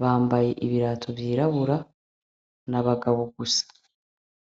bambaye ibirato vy'irabura n'abagabo gusa.